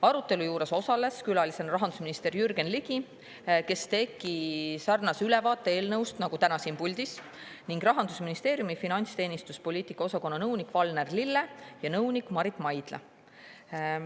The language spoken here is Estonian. Arutelus osalesid külalistena rahandusminister Jürgen Ligi, kes tegi sarnase ülevaate eelnõust nagu täna siin puldis, ning Rahandusministeeriumi finantsteenistuse poliitika osakonna nõunikud Valner Lille ja Marit Maidla.